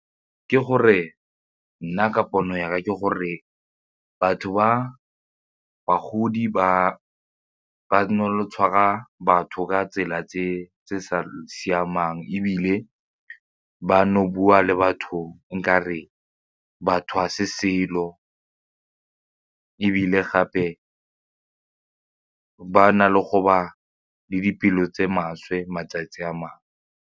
Ke gore, nna ka pono yaka ke gore batho ba bagodi ba tshwara batho ka tsela tse di sa siamang ebile bano bua le batho nkare batho ga se selo ebile gape ba na le go ba le dipelo tse maswe matsatsi a mangwe.